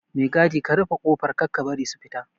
Mai gadi ka rufe kofar Kar ka bari su fita